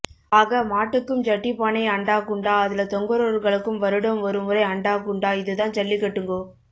ஆக மாட்டுக்கும் ஜட்டிப்பானை அண்டாகுண்டா அதுல தொங்குறவர்களுக்கும் வருடம் ஒருமுறை அண்டாகுண்டா இதுதான் ஜல்லிகட்டுங்கோ